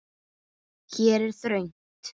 Hér er þröngt.